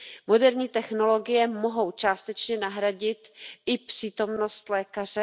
Moderní technologie mohou částečně nahradit i přítomnost lékaře.